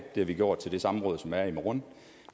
har vi gjort til det samråd som er i morgen